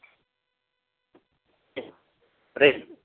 પ્રેમ